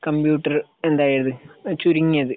Computer എന്തായത്? ചുരുങ്ങിയത്